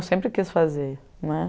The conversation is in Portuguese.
Eu sempre quis fazer né.